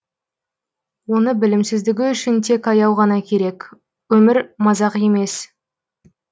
оны білімсіздігі үшін тек аяу ғана керек өмір мазақ емес